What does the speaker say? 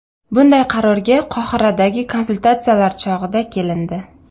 Bunday qarorga Qohiradagi konsultatsiyalar chog‘ida kelindi.